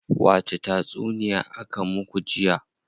Wace tatsuniya aka muku jiya?